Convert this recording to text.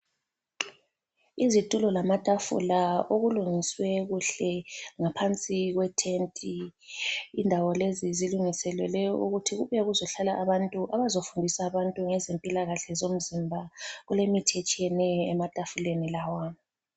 Izitulo lamatafula okulungiswe kuhle ngaphansi kwethenti. Indawo lezi zilungiselelwe ukuthi kubuye kuzohlala abantu abazofundisa abantu ngezempilakahle zomzimba. Kulemithi etshiyeneyo ematafuleni lawa.